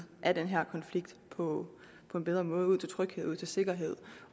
af den her konflikt på på en bedre måde ud til tryghed ud til sikkerhed